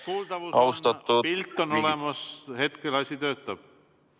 Kuuldavus on olemas, pilt on olemas, hetkel asi töötab.